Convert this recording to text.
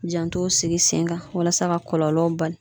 Janto sigi sen kan walasa ka kɔlɔlɔw ba